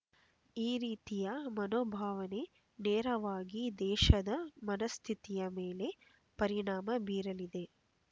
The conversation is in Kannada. ಈ ರೀತಿಯ ಮನೋಭಾವನೆ ನೇರವಾಗಿ ದೇಶದ ಮನಃಸ್ಥಿತಿಯ ಮೇಲೆ ಪರಿಣಾಮ ಬೀರಲಿದೆ